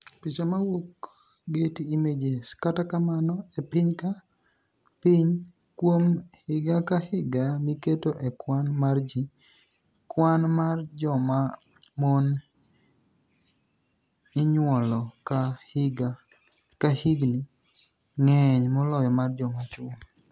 Picha mowuok Getty Images. Kata kamano, e piniy ka piniy, kuom higa ka higa miketo e kwani mar ji, kwani mar joma moni iniyuolo ka hikgi nig'eniy moloyo mar joma chwo.